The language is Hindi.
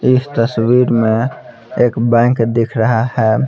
इस तस्वीर में एक बैंक दिख रहा है.